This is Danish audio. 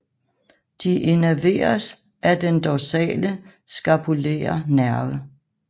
De innerveres af den dorsale scapulære nerve